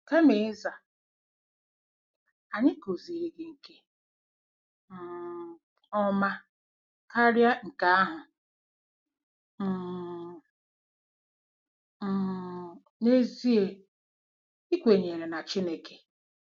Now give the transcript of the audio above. Kama ịza: " Anyị kụziiri gị nke um ọma karịa nke ahụ um - um n'ezie ị kwenyere na Chineke!"